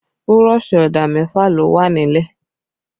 Burọ̀ṣì ọ̀dà mẹfa ló wà nílẹ̀